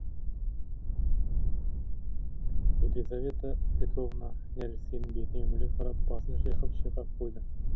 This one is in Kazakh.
елизавета петровна нәрестенің бетіне үңіле қарап басын шайқап шайқап қойды